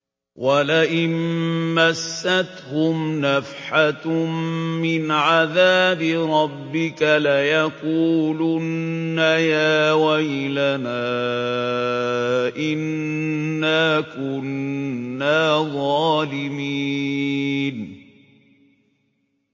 وَلَئِن مَّسَّتْهُمْ نَفْحَةٌ مِّنْ عَذَابِ رَبِّكَ لَيَقُولُنَّ يَا وَيْلَنَا إِنَّا كُنَّا ظَالِمِينَ